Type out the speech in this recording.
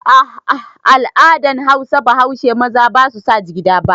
Ah ah, al'adan Hausa baushe maza basu sa jigida ba